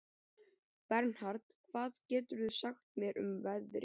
Bernhard, hvað geturðu sagt mér um veðrið?